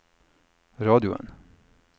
radioen